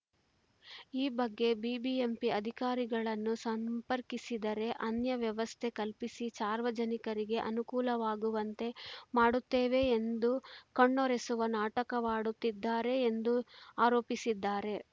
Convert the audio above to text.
ಈ ಬಗ್ಗೆ ಬಿಬಿಎಂಪಿ ಅಧಿಕಾರಿಗಳನ್ನು ಸಂಪರ್ಕಿಸಿದರೆ ಅನ್ಯ ವ್ಯವಸ್ಥೆ ಕಲ್ಪಿಸಿ ಸಾರ್ವಜನಿಕರಿಗೆ ಅನುಕೂಲವಾಗುವಂತೆ ಮಾಡುತ್ತೇವೆ ಎಂದು ಕಣ್ಣೊರೆಸುವ ನಾಟಕವಾಡುತ್ತಿದ್ದಾರೆ ಎಂದು ಆರೋಪಿಸಿದ್ದಾರೆ